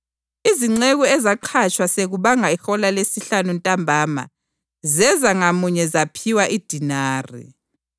Izinceku ezaqhatshwa sekubanga ihola lesihlanu ntambama zeza ngamunye zaphiwa idenari.